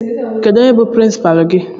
Onye bụ prinsipalu gị?